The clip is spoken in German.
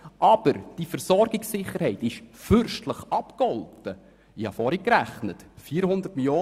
Aber die Versorgungssicherheit ist fürstlich abgegolten, wie ich vorgerechnet habe.